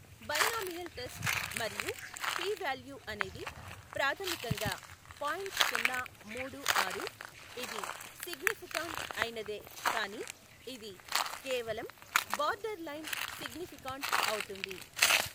Binomial test మరియు p value అనేది ప్రాథమికంగా పాయింట్ సున్న మూడు ఆరు, ఇది సిగ్నిఫికాంట్ అయినదే కానీ ఇది కేవలం బార్డర్ లైన్ సిగ్నిఫికాన్ట్ అవుతుంది.